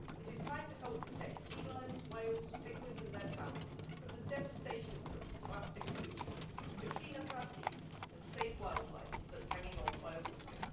It is time to help protect sea lions, whales, penguins and their pals from the devastation of plastic pollution, to clean up our seas and save wildlife that's hanging on by a whisker.